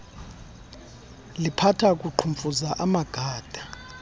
liphatha kuqhumfuza amagada